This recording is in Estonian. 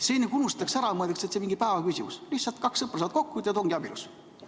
See nagu unustatakse ära, mõeldakse, et see on mingi ühe päeva küsimus, lihtsalt kaks sõpra saavad kokku ja ütlevad, et ongi abielus.